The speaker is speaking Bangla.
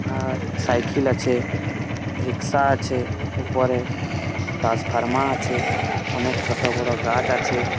আহ সাইকেল আছে রিশকা আছে উপরে ট্রান্সফর্মা আছে ছোট বড়ো গাছ আছে।